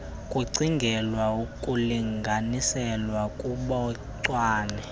kucingelwa ukulinganiselwa kobuncwane